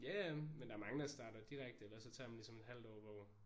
Ja ja men der er mange der starter direkte eller så tager man ligesom et halvt år hvor